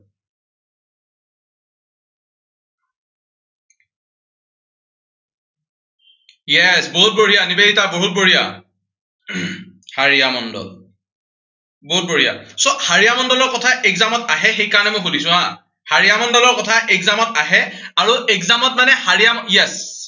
yes বহুত বঢ়িয়া, নিবেদিতা, বহুত বঢ়িয়া। হাড়িয়া মণ্ডল। বহুত বঢ়িয়া। so হাড়িয়া মণ্ডলৰ কথা exam ত আহে, সেই কাৰনে মই সুধিছো হা। হাড়িয়া মণ্ডলৰ কথা exam ত আহে আৰু exam ত মানে হাড়িয়া